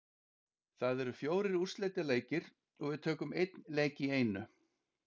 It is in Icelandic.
Það eru fjórir úrslitaleikir og við tökum einn leik í einu.